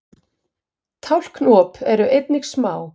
tálknaop eru einnig smá